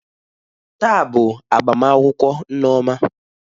Taa bụ agbamakwụkwọ nneoma